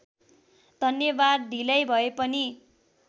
धन्यवाद ढिलै भएपनि